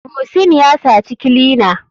Muhsin yasaci clina.